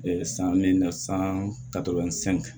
san min na san